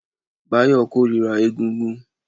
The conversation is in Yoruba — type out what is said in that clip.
Báyọ̀ kórira égúngún